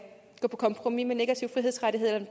gå på kompromis med negative frihedsrettigheder